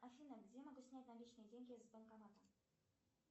афина где я могу снять наличные деньги с банкомата